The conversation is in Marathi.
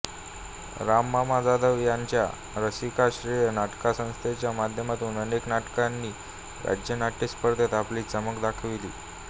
राम मामा जाधव यांच्या रसिकाश्रय नाट्यसंस्थेच्या माध्यमातून अनेक नाटकांनी राज्य नाट्य स्पर्धेत आपली चमक दाखविली